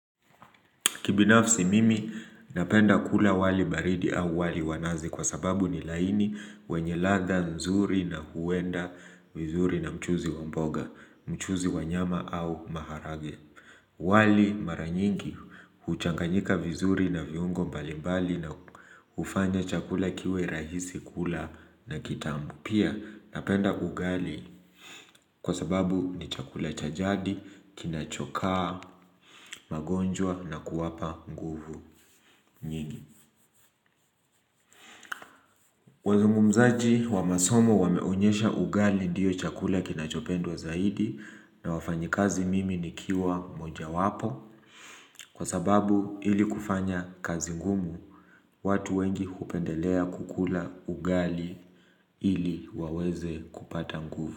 Kibinafsi mimi napenda kula wali baridi au wali wa nazi kwa sababu ni laini wenye ladha nzuri na huenda vizuri na mchuzi wa mboga, mchuzi wa nyama au maharage. Wali mara nyingi huchanganyika vizuri na viungo mbali mbali na hufanya chakula kiwe rahisi kula na kitamu. Pia napenda ugali kwa sababu ni chakula cha jadi, kinachokaa, magonjwa na kuwapa nguvu. Nyingi, wazungumzaji wa masomo wameonyesha ugali ndiyo chakula kinachopendwa zaidi na wafanyikazi mimi nikiwa moja wapo kwa sababu ili kufanya kazi ngumu watu wengi kupendelea kukula ugali ili waweze kupata nguvu.